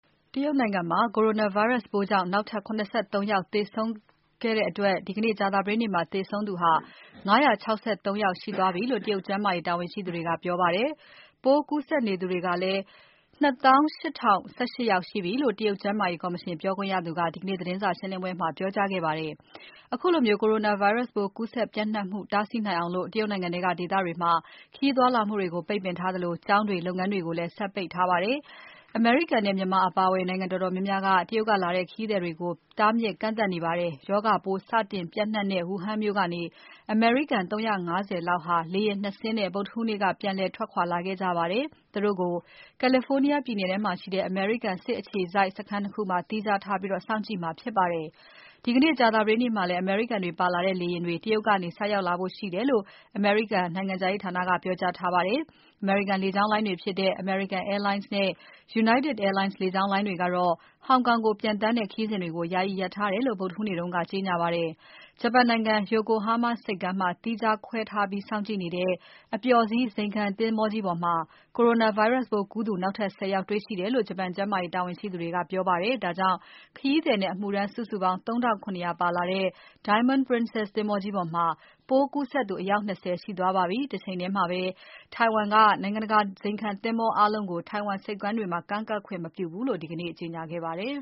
တရုတ်နိုင်ငံမှာ Coronavirus ပိုးကြောင့် နောက်ထပ် ၇၃ ယောက်သေဆုံးသူခဲ့တဲ့အတွက် ဒီနေ့ ကြာသပတေးနေ့မှာ သေဆုံးသူ ၅၆၃ ယောက်ရှိသွားပြီလို့ တရုတ်ကျန်းမာရေးတာဝန်ရှိသူတွေက ပြောကြားပါတယ်။ ပိုးကူးစက်နေသူကလည်း (၂၈၀၁၈) ရှိပြီလို့ တရုတ်ကျန်းမာရေးကော်မရှင် ပြောခွင့်ရသူက ဒီကနေ့ သတင်းစာရှင်းပွဲမှာ ပြောကြားခဲ့ပါတယ်။ ခုလို Coronavirus ပိုးကူးစက်ပျံ့နှံ့မှု တားဆီးနိုင်အောင် တရုတ်နိုင်ငံထဲက ဒေသတွေမှာ ခရီးသွားလာမှုတွေကို ပိတ်ပင်ထားသလို၊ ကျောင်းတွေ လုပ်ငန်းတွေကိုလည်း ဆက်ပိတ်ထားပါတယ်။ အမေရိကန်နဲ့ မြန်မာအပါအဝင် နိုင်ငံတော်တော်များများက တရုတ်ကလာတဲ့ ခရီးသည်တွေကို တားမြစ် ကန့်သတ်နေပါတယ်။ ရောဂါပိုး စတင်ပျံ့နှံ့တဲ့ Wuhan မြို့ကနေ အမေရိကန် ၃၅၀ လောက်ဟာ လေယာဉ် ၂ စင်းနဲ့ ဗုဒ္ဓဟူးနေ့ပြန်လည် ထွက်ခွာလာခဲ့ကြပါတယ်။ သူတို့ကို California ပြည်နယ်ထဲမှာရှိတဲ့ အမေရိကန်အခြေစိုက် စခန်း ၂ ခုမှာ သီးခြားထားပြီး စောင့်ကြည့်မှာဖြစ်ပါတယ်။ ဒီကနေ့ ကြာသပတေးနေ့မှာလည်း အမေရိကန်တွေပါလာတဲ့ လေယာဉ်တွေ တရုတ်ကနေ ဆိုက်ရောက်လာဖို့ရှိတယ်လို့ အမေရိကန်နိုင်ငံခြားရေးဌာနက ပြောပါတယ်။ ဂျပန်နိုင်ငံ Yokohama ဆိပ်ကမ်းမှာ သီးခြားခွဲထားပြီး စောင့်ကြည့်နေတဲ့ အပျော်စီး ဇိမ်ခံသင်္ဘောကြီးပေါ်မှာ Coronavirus ပိုးကူးစက်သူ နောက်ထပ် ၁၀ ယောက်တွေ့ရှိတယ်လို့ ဂျပန်ကျန်းမာရေးတာဝန်ရှိသူတွေက ပြောပါတယ်။ ဒါကြောင့် ခရီးသည်နဲ့အမှုထမ်း စုစုပေါင်း ၃၇၀၀ ပါလာတဲ့ Diamond Princess သင်္ဘောကြီးပေါ်မှာ ပိုးကူးစက်သူ အယောက် ၂၀ ရှိသွားပါပြီ။ တချိန်ထဲမှာပဲ ထိုင်ဝမ်က နိုင်ငံတကာ ဇိမ်ခံသင်္ဘောအားလုံးကို ထိုင်ဝမ်ဆိပ်ကမ်းတွေမှာ ကမ်းကပ်ခွင့် မပြုဘူးလို့ ဒီကနေ့ ကြေညာခဲ့ပါတယ်